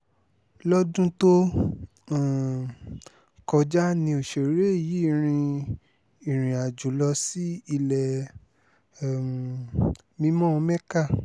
lọ́dún tó um kọjá ni òṣèré yìí rin ìrìnàjò lọ sí ilẹ̀ um mímọ́ mecca